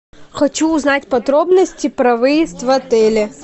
хочу узнать подробности про выезд в отеле